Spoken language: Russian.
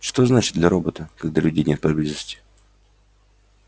что значит для робота когда людей нет поблизости